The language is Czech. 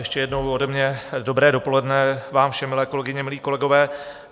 Ještě jednou ode mě dobré dopoledne vám všem, milé kolegyně, milí kolegové.